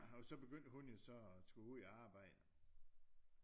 Og så begyndte hun jo så og skulle ud i arbejde